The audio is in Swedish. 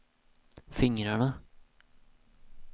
fingrarna